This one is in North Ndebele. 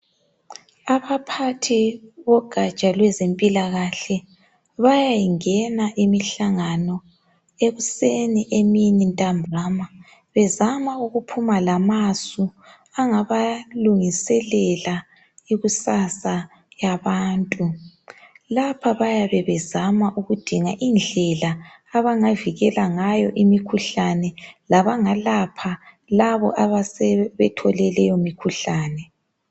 Abaphathi bogaja lwezempilakahle bayayingena imihlangano ekuseni, emini ntambama bezama kukuphuma lamasu angabalungiselela ikusasa yabantu. Lapha bayabe bezama ukudinga indlela abangavikela ngayo imikhuhlane lokulapha labo asebethole leyo mikhuhlane